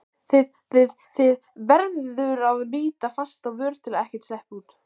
þið þið, þið- verður að bíta fast á vör til að ekkert sleppi út.